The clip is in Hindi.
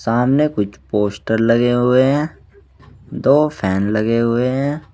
सामने कुछ पोस्टर लगे हुए हैं दो फैन लगे हुए हैं।